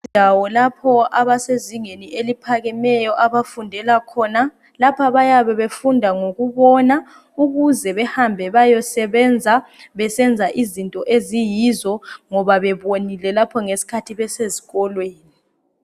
Indawo lapho abasezingeni eliphakemeyo khona abafundela khona. Lapha bayabe befunda ngokubona ukuze behambe bayesebenza besenza izinto eziyizo ngoba bebonile lapho ngesikhathi besezikolweni.